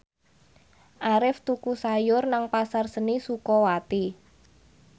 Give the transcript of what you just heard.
Arif tuku sayur nang Pasar Seni Sukawati